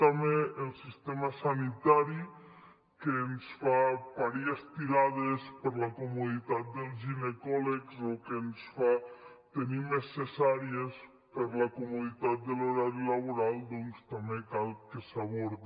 també el sistema sanitari que ens fa parir estirades per a la comoditat dels ginecòlegs o que ens fa tenir més cesàries per la comoditat de l’horari laboral doncs també cal que s’abordi